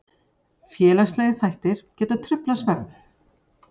Félagslegir þættir geta truflað svefn.